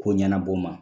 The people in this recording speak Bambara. Ko ɲɛnabɔ n ma